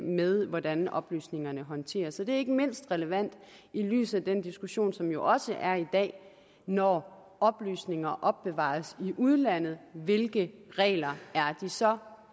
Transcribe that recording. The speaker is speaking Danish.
med hvordan oplysningerne håndteres det er ikke mindst relevant i lyset af den diskussion som der også er i dag når oplysninger opbevares i udlandet hvilke regler er de så